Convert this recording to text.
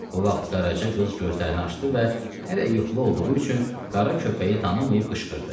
Bu vaxt Qaraca qız gözlərini açdı və hələ yuxulu olduğu üçün qara köpəyi tanımayıb qışqırdı.